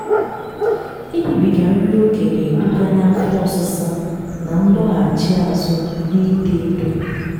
ịribiga nri okè na-eduga n'afọ ọsịsa na ndọghachị azụ n'ito eto